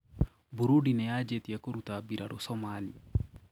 Burundi niyajitie kũrũta birarũ Somalia.